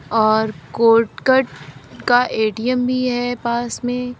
और कोटक का ए_टी_एम भी है पास में।